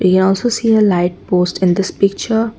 here also see a light poles in this picture.